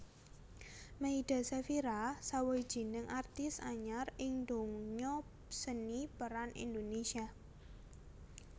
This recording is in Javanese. Meyda Sefira sawijining artis anyar ing donya seni pêran Indonesia